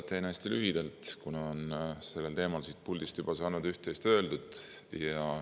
Teen hästi lühidalt, kuna sellel teemal on siit puldist juba üht-teist öeldud.